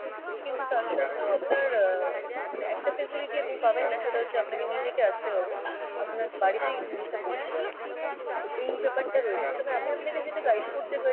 কিন্তু তার সাথেও আপনার আহ মানে একটা facility আপনি পাবেন না সেটা হচ্ছে আপনাকে নিজেকে আসতে হবে, আপনার বাড়িতে এই জিনিসটা পৌঁছে যাবে না। এই ব্যাপার টা রয়েছে, তবে আমি আপনাকে যেটা guide করতে পারি